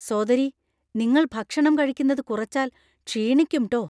സോദരീ, നിങ്ങൾ ഭക്ഷണം കഴിക്കുന്നത് കുറച്ചാൽ ക്ഷീണിക്കും ട്ടോ.